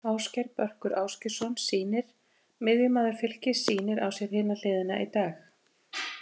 Ásgeir Börkur Ásgeirsson sýnir miðjumaður Fylkis sýnir á sér hina hliðina í dag.